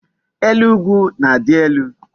Elu ugwu na-adi elu